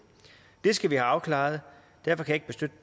det skal vi have afklaret derfor kan